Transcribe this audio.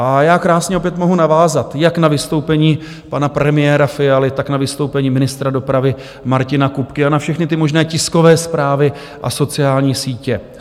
A já krásně opět mohu navázat jak na vystoupení pana premiéra Fialy, tak na vystoupení ministra dopravy Martina Kupky a na všechny ty možné tiskové zprávy a sociální sítě.